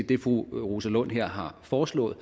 det fru rosa lund her har foreslået